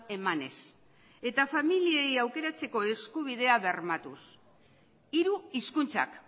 emanez eta familiei aukeratzeko eskubidea bermatuz hiru hizkuntzak